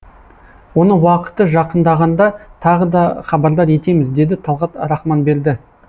оны уақыты жақындағанда тағы да хабардар етеміз деді талғат рахманберді